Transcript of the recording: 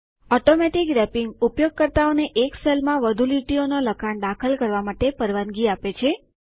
automatic wrapping ઉપયોગકર્તાઓને એક સેલમાં વધુ લીટીઓનું લખાણ દાખલ કરવા માટે પરવાનગી આપે છે